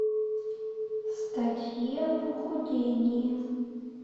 статьи о похудении